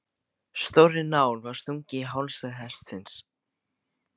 Stórri nál var stungið í hálsæð hestsins.